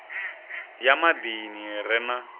ya maḓini i re na